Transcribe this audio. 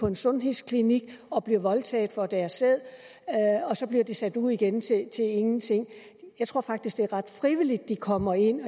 en sundhedsklinik og bliver voldtaget for at deres sæd og sat ud igen til ingenting jeg tror faktisk det er ret frivilligt de kommer ind